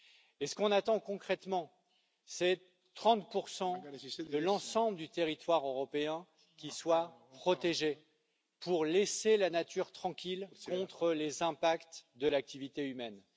Et ce que l'on attend concrètement, c'est 30 de l'ensemble du territoire européen qui soit protégé pour laisser la nature tranquille contre les impacts de l'activité humaine.